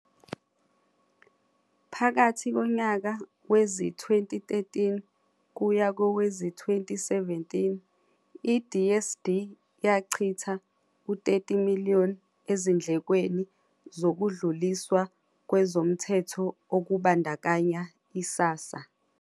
Phakathi konyaka wezi-2013 kuya kowezi-2017, iDSD yachitha u-R30 million ezindlekweni zokudluliswa kwezomthetho okubandakanya i-SASSA.